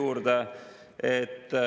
Aitäh!